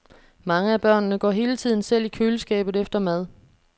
Mange af børnene går hele tiden selv i køleskabet efter mad.